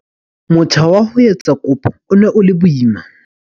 Motjha wa ho etsa kopo o ne o le boima.